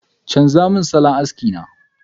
chanza mun salon aski na!